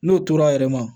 N'o tor'a yɛrɛ ma